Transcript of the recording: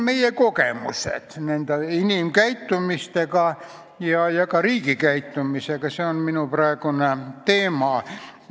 Meie kogemused selles, milline on olnud inimkäitumine ja ka riigi käitumine, on minu praegune teema.